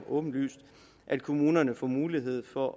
åbenlyse at kommunerne får mulighed for